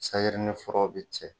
ni furaw bɛ cɛ.